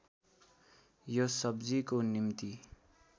यो सब्जीको निम्ति